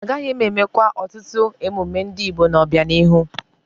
Agaghị eme kwa ọtụtụ emume ndị Igbo n'obianihu.